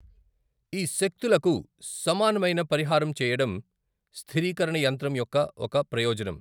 ఈ శక్తులకు సమానమైన పరిహారం చెయ్యడం స్థిరీకరణ యంత్రం యొక్క ఒక ప్రయోజనం.